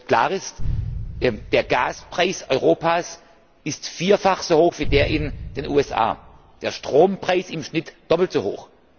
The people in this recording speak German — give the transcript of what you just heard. Klar ist Der Gaspreis Europas ist vierfach so hoch wie der in den USA, der Strompreis im Schnitt doppelt so hoch.